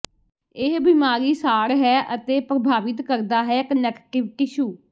ਇਹ ਬਿਮਾਰੀ ਸਾੜ ਹੈ ਅਤੇ ਪ੍ਰਭਾਵਿਤ ਕਰਦਾ ਹੈ ਕਨੈਕਟਿਵ ਟਿਸ਼ੂ